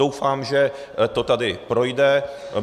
Doufám, že to tady projde.